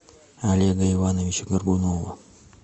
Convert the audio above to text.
олега ивановича горбунова